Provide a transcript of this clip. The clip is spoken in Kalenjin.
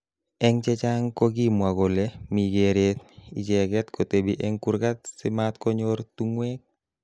Eng chechang kokimwa kole mi keeret icheket kotebi eng kurkat si matkonyor tungwek.